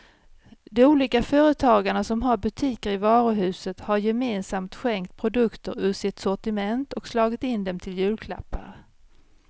De olika företagarna som har butiker i varuhuset har gemensamt skänkt produkter ur sitt sortiment och slagit in dem till julklappar.